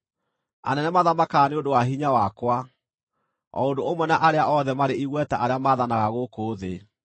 anene mathamakaga nĩ ũndũ wa hinya wakwa, o ũndũ ũmwe na arĩa othe marĩ igweta arĩa maathanaga gũkũ thĩ.